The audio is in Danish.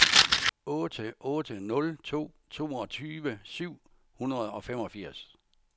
otte otte nul to toogtyve syv hundrede og femogfirs